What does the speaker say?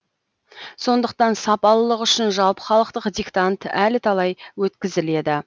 сондықтан сапалылық үшін жалпыхалықтық диктант әлі талай өткізіледі